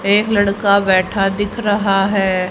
एक लड़का बैठा दिख रहा है।